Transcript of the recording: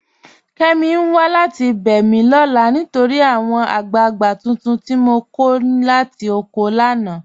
Kẹ́mí n wà láti bẹ́ mi lọ́la nítorí àwọn agbàgbà tuntun tI mọ ní kọ̀ látì ọ̀kọ̀ mi lánà.